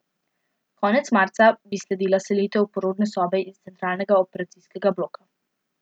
Konec marca bi sledila selitev porodne sobe in centralnega operacijskega bloka.